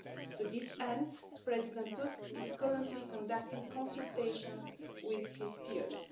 To this end, President Tusk is currently conducting consultations with his peers.